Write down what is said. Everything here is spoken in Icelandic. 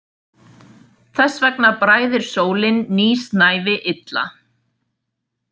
Þess vegna bræðir sólin nýsnævi illa.